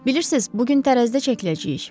Bilirsiniz, bu gün tərəzidə çəkiləcəyik.